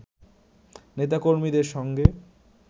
নেতা-কর্মীদের সঙ্গে